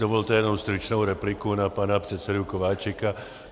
Dovolte jenom stručnou repliku na pana předsedu Kováčika.